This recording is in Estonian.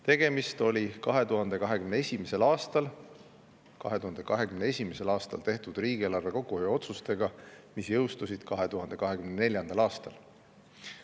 Tegemist oli 2021. aastal tehtud otsusega riigieelarves kokkuhoiu, mis jõustus 2024. aastal.